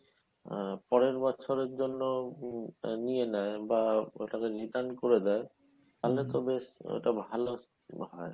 আহ পরের বছরের জন্য হম নিয়ে নেয় বা ওটাকে return করে দেয় তাহলে তো বেশ ওটা ভালো হয়